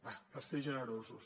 va per ser generosos